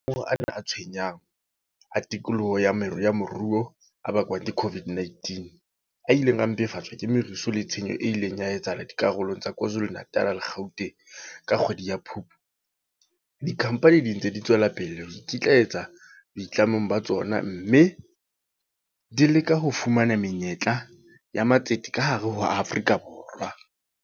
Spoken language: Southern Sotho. A tshwenyang a tikoloho ya moruo a bakwang ke COVID-19, a ileng a mpefatswa ke merusu le tshenyo e ileng ya etsahala dikarolong tsa KwaZuluNatal le Gauteng ka kgwedi ya Phupu, dikhampani di ntse di tswela pele ho ikitlaetsa boitlamong ba tsona, mme di leka ho fumana menyetla ya matsete ka hare ho Afrika Borwa.